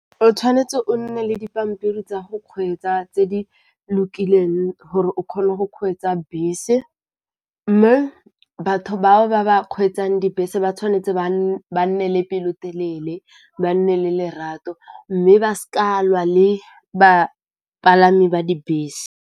O tshwanetse o nne le dipampiri tsa go kgweetsa tse di lokileng gore o kgone go kgweetsa bese, mme batho bao ba ba kgweetsang dibese ba tshwanetse ba nne le pelotelele, ba nne le lerato, mme ba seka lwa le bapalami ba dibese.